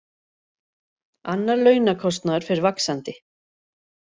Annar launakostnaður fer vaxandi